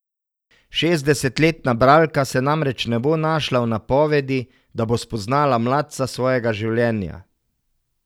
Šestdesetletna bralka se namreč ne bo našla v napovedi, da bo spoznala mladca svojega življenja.